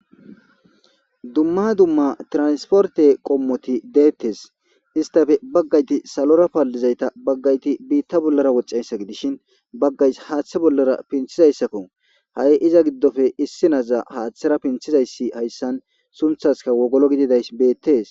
Dumma dumma transporte qommoti de.etees. Istappe bagati salora paalizayta bagati biita bollara woxxiyayssa gidishin bagay haaththa bollara pinthizayssakko. Hay iza gidoppe haaththara pnththizayssi hayssan sunthaskka wogolo gididayssi beetees.